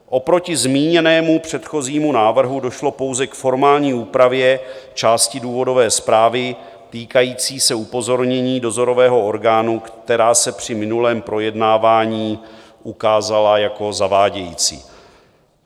Oproti zmíněnému předchozímu návrhu došlo pouze k formální úpravě části důvodové zprávy týkající se upozornění dozorového orgánu, která se při minulém projednávání ukázala jako zavádějící.